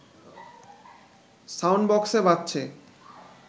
sound বক্সে বাজছে